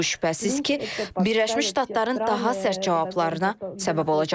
Lakin bu şübhəsiz ki, Birləşmiş Ştatların daha sərt cavablarına səbəb olacaq.